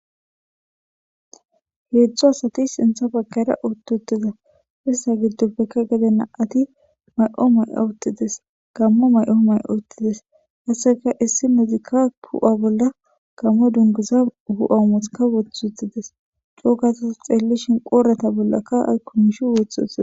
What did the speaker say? Heedzdzu asati sintha bakara uttutida issa giddopfekka gedena ati may7o may7o ottides kammo may7o may7o ottides hasseka issi medika pu7a bolla kammo dungiza hu7aumothaka wothutides cuugasas xeellishin qoorata bollakka ay kumishi woth utida.